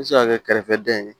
I bɛ se ka kɛ kɛrɛfɛdɛn ye